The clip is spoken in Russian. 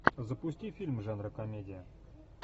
запусти фильм жанра комедия